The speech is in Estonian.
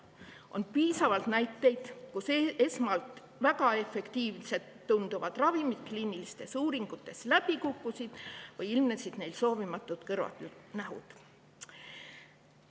On piisavalt näiteid, kus esmalt väga efektiivsena tunduvad ravimid on kliinilistes uuringutes läbi kukkunud või on nende tõttu ilmnenud soovimatuid kõrvalnähtusid.